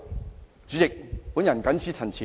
代理主席，我謹此陳辭。